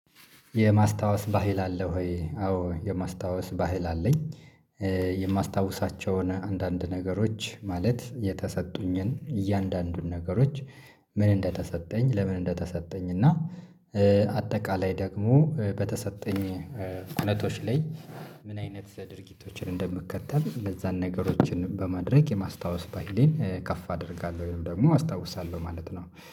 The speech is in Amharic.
የማስታወስ ባህል አለ ወይ? አዎ የማስታወስ ባህል አለኝ። የማስታውሳቸውን አንዳንድ ነገሮች ማለት የተሰጡኝን እያንዳንዱን ነገሮች ምን እንደተሰጠኝ ለምን እንደተሰጠኝ? እና አጠቃላይ ደግሞ በተሰጠኝ እውነቶች ላይ። ምን አይነት ድርጊቶችን እንደምከተል እነዛን ነገሮችን በማድረግ የማስታወስ ባህሌን ከፍ አደርጋለሁ ወይም ደግሞ አስታውሳለሁ ማለት ነው